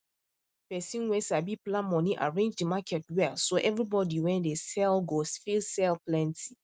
person wen sabi plan money arrange the market well so everybody wen dey sell go fit sell plenty